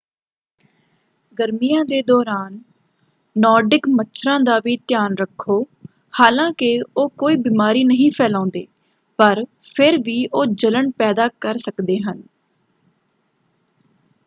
ਗਰਮੀਆਂ ਦੇ ਦੌਰਾਨ ਨੌਰਡਿਕ ਮੱਛਰਾਂ ਦਾ ਵੀ ਧਿਆਨ ਰੱਖੋ। ਹਾਲਾਂਕਿ ਉਹ ਕੋਈ ਬਿਮਾਰੀ ਨਹੀਂ ਫੈਲਾਉਂਦੇ ਪਰ ਫਿਰ ਵੀ ਉਹ ਜਲਣ ਪੈਦਾ ਕਰ ਸਕਦੇ ਹਨ।